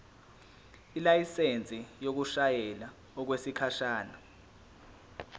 ilayisensi yokushayela okwesikhashana